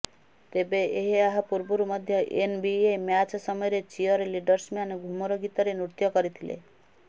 ତେବେ ଏହା ପୂର୍ବରୁ ମଧ୍ୟ ଏନବିଏ ମ୍ୟାଚ ସମୟରେ ଚିୟର ଲିଡ଼ର୍ସମାନେ ଘୁମର ଗୀତରେ ନୃତ୍ୟ କରିଥିଲେ